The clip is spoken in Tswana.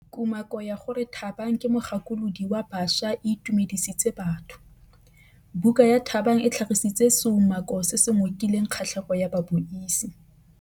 Kumakô ya gore Thabang ke mogakolodi wa baša e itumedisitse batho. Buka ya Thabang e tlhagitse seumakô se se ngokileng kgatlhegô ya babuisi.